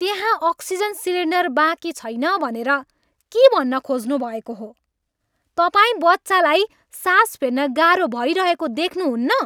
त्यहाँ oxygen cylinder बाँकी छैन भनेर के भन्न खोज्नुभएको हो? तपाईँ बच्चालाई सास फेर्न गाह्रो भइरहेको देख्नुहुन्न?